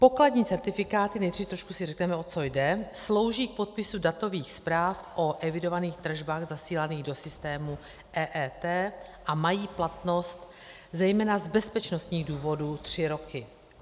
Pokladní certifikáty - nejdřív trošku si řekneme, o co jde - slouží k podpisu datových zpráv o evidovaných tržbách zasílaných do systému EET a mají platnost zejména z bezpečnostních důvodů tři roky.